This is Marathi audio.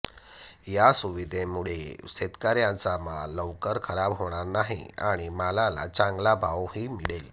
या सुविधेमुळे शेतकऱ्यांचा माल लवकर खराब होणार नाही आणि मालाला चांगला भावही मिळेल